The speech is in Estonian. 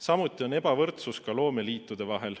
Samuti on ebavõrdsus ka loomeliitude vahel.